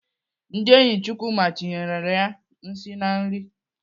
Ndị enyi Chukwuma tinyerela ya nsị na nri.